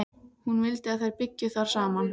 Hún vildi að þær byggju þar saman.